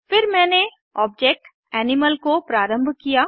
फिर मैंने object animal को प्रारम्भ किया